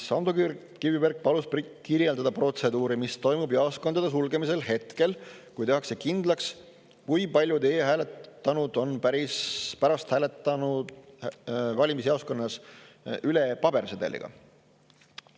Ando Kiviberg palus kirjeldada protseduuri, mis toimub pärast jaoskondade sulgemist, kui tehakse kindlaks, kui paljud e-hääletanud on hiljem hääletanud valimisjaoskonnas pabersedeliga.